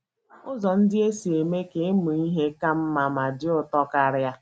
Ụzọ Ndị E Si Eme Ka Ịmụ Ihe Ka Mma Ma Dị Ụtọ Karịa